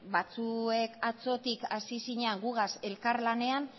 batzuek atzotik hasi zinan gugaz elkarlanean